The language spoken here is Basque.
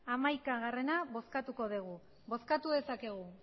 hamaika bozkatuko dugu bozkatu dezakegu